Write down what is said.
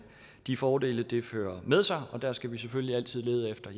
de fordele det fører med sig der skal vi selvfølgelig altid lede efter